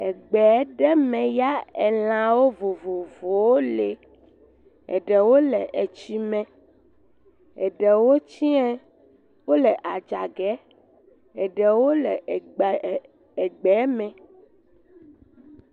Egbe ɖe me ya elãwo vovovowo le, eɖewo le etsi me, eɖewo tsɛ̃e, eɖewo le adzɔ ge, eɖewo le egbe, egbe me.